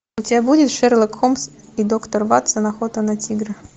у тебя будет шерлок холмс и доктор ватсон охота на тигра